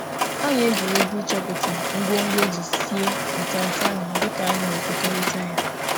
Anyị mere egwuregwu ịchọpụta ihe dị n’ime nri ka anyị na-ekekọrịta ya.